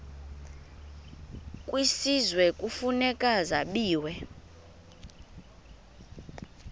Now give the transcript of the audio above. kwisizwe kufuneka zabiwe